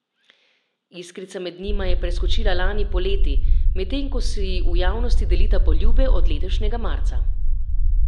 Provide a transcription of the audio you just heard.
Iskrica med njima je preskočila lani poleti, medtem ko si v javnosti delita poljube od letošnjega marca.